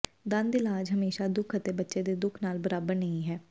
ਦੰਦ ਇਲਾਜ ਹਮੇਸ਼ਾ ਦੁੱਖ ਅਤੇ ਬੱਚੇ ਦੇ ਦੁੱਖ ਨਾਲ ਬਰਾਬਰ ਨਹੀ ਹੈ